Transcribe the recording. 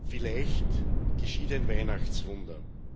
Vielleicht geschieht ein Weihnachtswunder.